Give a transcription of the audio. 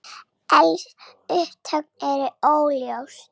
Eldsupptök eru óljós